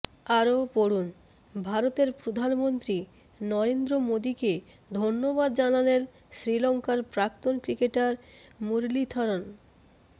আরও পড়ুন ভারতের প্রধানমন্ত্রী নরেন্দ্র মোদীকে ধন্যবাদ জানালেন শ্রীলঙ্কার প্রাক্তন ক্রিকেটার মুরলীথরন